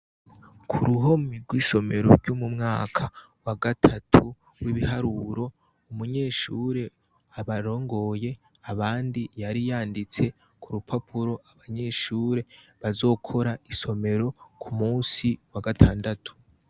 Ku ruhome rwishomero vy'umu mwaka wa gatatu w'ibiharuro umunyeshure abarongoye abandi yari yanditse ku rupapuro abanyeshure bazokora isomero ku musi wa gatandatu.